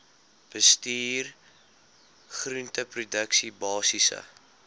bestuur groenteproduksie basiese